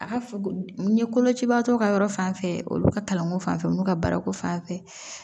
A ka f n ye kolocibaatɔ ka yɔrɔ fanfɛ olu ka kalanko fan fɛ olu ka baara ko fan fɛ